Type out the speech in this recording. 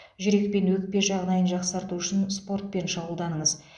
жүрек пен өкпе жағдайын жақсарту үшін спортпен шұғылданыңыз